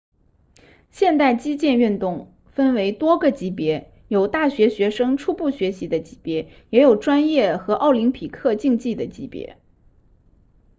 现代击剑运动分为多个级别有大学学生初步学习的级别也有专业和奥林匹克竞技的级别